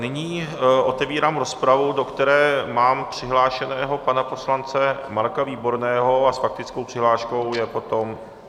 Nyní otevírám rozpravu, do které mám přihlášeného pana poslance Marka Výborného a s faktickou přihláškou je potom...